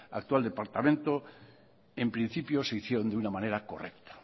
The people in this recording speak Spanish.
actual departamento en principio se hicieron de una manera correcta